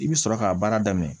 I bi sɔrɔ k'a baara daminɛ